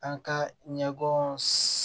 An ka ɲɛgɛn